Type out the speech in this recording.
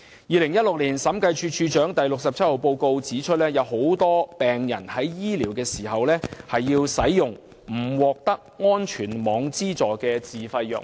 2016年審計署署長發表的第六十七號報告書指出，許多病人在接受治療時均須服用沒有資助的自費藥物。